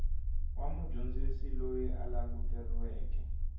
wa mudyondzisi loyi a languteriweke